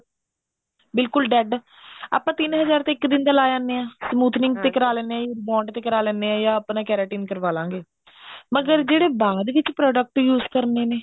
ਬਿਲਕੁਲ dead ਆਪਾਂ ਤਿੰਨ ਹਜ਼ਾਰ ਇੱਕ ਦਿਨ ਦਾ ਲਾ ਆਉਣੇ ਆ smoothening ਤੇ ਕਰਾ ਲੈਨੇ ਆ rebound ਤੇ ਕਰ ਲਿੰਦੇ ਆ ਜਾ ਆਪਾਂ keratin ਕਰਵਾ ਲਾਂਗੇ ਮਗਰ ਜਿਹੜੇ ਬਾਅਦ ਵਿੱਚ product use ਕਰਨੇ ਨੇ